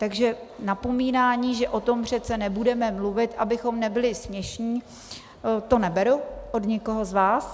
Takže napomínání, že o tom přece nebudeme mluvit, abychom nebyli směšní, to neberu od nikoho z vás.